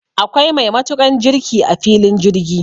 Akwai mai matukan jirki a filin jirgi